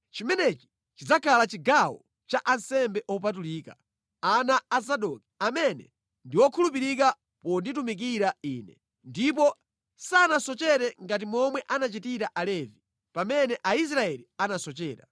Chimenechi chidzakhala chigawo cha ansembe opatulika, ana a Zadoki, amene ndi okhulupirika ponditumikira Ine, ndipo sanasochere ngati momwe anachitira Alevi pamene Aisraeli anasochera.